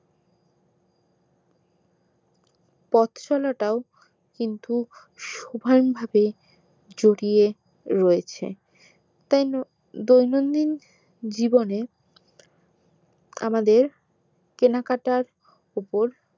পথ চলাটাও কিন্তু সমান ভাবে জড়িয়ে রয়েছে তাই দৈনন্দিন জীবনে আমাদের কেনাকাটার উপর